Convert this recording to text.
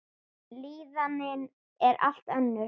Líðanin er allt önnur.